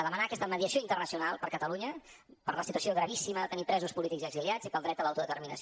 demanar aquesta mediació internacional per a catalunya per la situació gravíssima de tenir presos polítics i exiliats i pel dret a l’autodeterminació